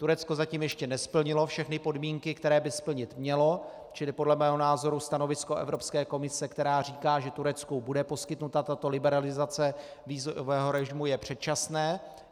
Turecko zatím ještě nesplnilo všechny podmínky, které by splnit mělo, čili podle mého názoru stanovisko Evropské komise, která říká, že Turecku bude poskytnuta tato liberalizace vízového režimu, je předčasné.